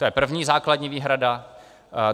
To je první základní výhrada.